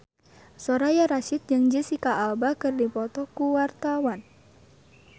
Soraya Rasyid jeung Jesicca Alba keur dipoto ku wartawan